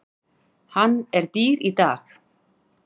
Hann er dýr í dag.